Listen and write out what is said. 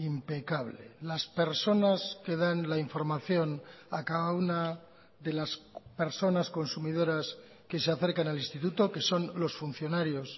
impecable las personas que dan la información a cada una de las personas consumidoras que se acercan al instituto que son los funcionarios